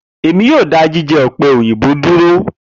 Emi yoo da jijẹ òpè òyìnbó duro.